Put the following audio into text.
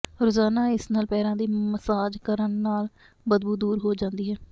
ਰੋਜ਼ਾਨਾ ਇਸ ਨਾਲ ਪੈਰਾਂ ਦੀ ਮਸਾਜ ਕਰਨ ਨਾਲ ਬਦਬੂ ਦੂਰ ਹੋ ਜਾਂਦੀ ਹੈ